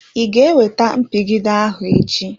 I ga ewete mpigide ahụ echi?